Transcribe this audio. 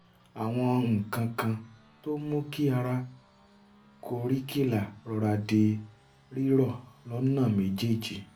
àwọn nǹkan kan tó ń mú kí ara koríkìlà rọra di rírọ̀ lọ́nà méjèèjì